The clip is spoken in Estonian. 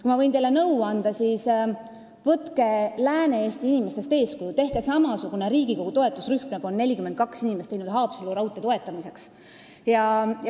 Kui ma võin teile nõu anda, siis võtke Lääne-Eesti inimestest eeskuju, tehke Riigikogus samasugune toetusrühm, nagu on 42 inimest teinud Haapsalu raudtee toetamiseks.